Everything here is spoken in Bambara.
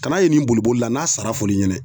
Kana ye nin boli boli la n'a sara fɔr'i ɲɛnɛ